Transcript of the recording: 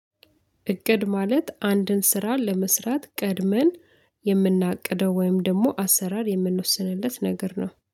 እቅድ ማለት አንድን ስራ ለመስራት ቀድመን የምናቅደው ወይም ደግሞ አሰራር የምንወስንለት ነገር ነው።